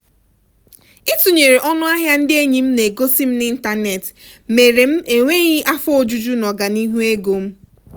itụnyere ọnụ ahịa ndị enyi m na-egosi m n'ịntanetị mere m enweghị afọ ojuju n'ọganihu ego m.